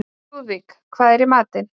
Lúðvíka, hvað er í matinn?